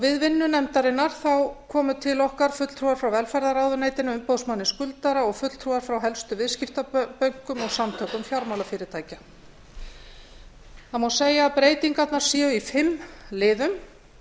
við vinnu nefndarinnar komu til okkar fulltrúar frá velferðarráðuneytinu umboðsmanni skuldara og fulltrúar frá helstu viðskiptabönkum og samtökum fjármálafyrirtækja það má segja að breytingarnar séu í fimm liðum